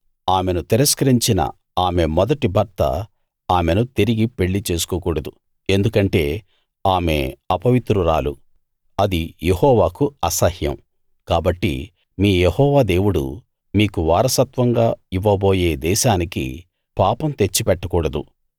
ఆమెను తిరస్కరించిన ఆమె మొదటి భర్త ఆమెను తిరిగి పెళ్లి చేసుకోకూడదు ఎందుకంటే ఆమె అపవిత్రురాలు అది యెహోవాకు అసహ్యం కాబట్టి మీ యెహోవా దేవుడు మీకు వారసత్వంగా ఇవ్వబోయే దేశానికి పాపం తెచ్చిపెట్టకూడదు